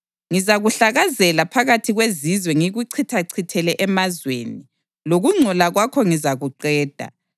Ngizakuhlakazela phakathi kwezizwe ngikuchithachithele emazweni; lokungcola kwakho ngizakuqeda.